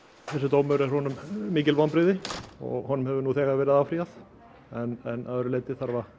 þessi dómur er honum mikil vonbrigði og honum hefur nú þegar verið áfrýjað en að öðru leyti